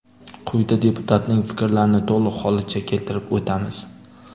Quyida deputatning fikrlarini to‘liq holicha keltirib o‘tamiz.